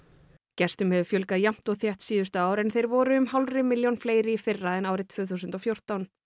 gestum hefur fjölgað jafnt og þétt síðustu ár en þeir voru um hálfri milljón fleiri í fyrra en árið tvö þúsund og fjórtán